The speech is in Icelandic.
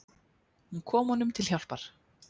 Hún kom honum til hjálpar.